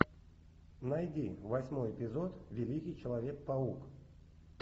найди восьмой эпизод великий человек паук